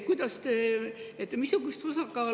Aitäh!